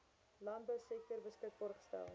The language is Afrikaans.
landbousektor beskikbaar gestel